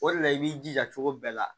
O de la i b'i jija cogo bɛɛ la